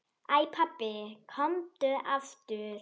Æ pabbi, komdu aftur.